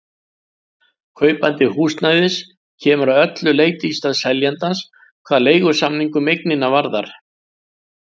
Kaupandi húsnæðisins kemur að öllu leyti í stað seljandans hvað leigusamning um eignina varðar.